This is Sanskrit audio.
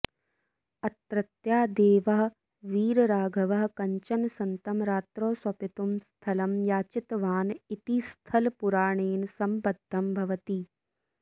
अत्रत्यः देवः वीरराघवः कञ्चन सन्तं रात्रौ स्वपितुं स्थलं याचितवान् इति स्थलपुराणेन सम्बद्धं भवति